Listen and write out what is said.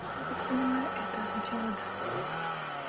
я так понимаю это означало да